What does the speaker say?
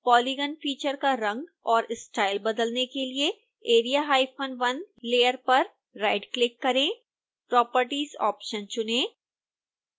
polygon feature का रंग और स्टाइल बदलने के लिए area1 लेयर पर राइटक्लिक करें properties ऑप्शन चुनें